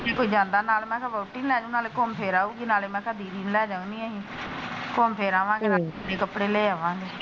ਕੋਈ ਜਾਂਦਾ ਨੀ ਨਾਲ ਮੈ ਵਹੁਟੀ ਨੂੰ ਲੈ ਜਾਂਦੀ ਨਾਲੇ ਘੁੰਮ ਫਿਰ ਆਉਂਗੀ ਨਾਲੇ ਮੈਂ ਕਿਹਾ ਘੁੰਮ ਫਿਰ ਆਊਗੀ ਨਾਲੇ ਮੈਂ ਕਿਹਾ ਬੀਜੀ ਨੂੰ ਲੈ ਜੌਣੇ ਆ ਅਸੀਂ ਘੁੰਮ ਫਿਰ ਆਵਾਂਗੇ ਨਾਲੇ ਕਪੜੇ ਲੈ ਆਵਾਂਗੇ।